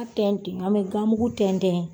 an bɛ gamugu tɛntɛn